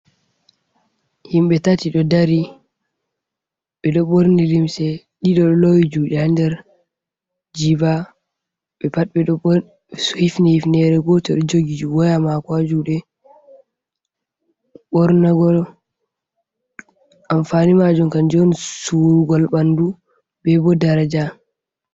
Himɓe tati ɗo dari, ɓeɗo borni limse, ɗiɗo lowi juɗe haa der jiba ɓe pat ɓeɗo bor ifni ufunere goto jogi woya mako ha juɗe, bornugo anfani majum kanjum on surugal bandu bebo daraja.